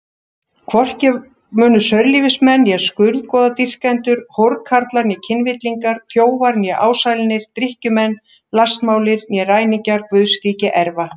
Hvorki munu saurlífismenn né skurðgoðadýrkendur, hórkarlar né kynvillingar, þjófar né ásælnir, drykkjumenn, lastmálir né ræningjar Guðs ríki erfa.